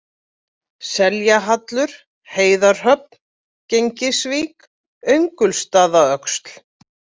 Seljahallur, Heiðarhöfn, Gegnisvík, Öngulsstaðaöxl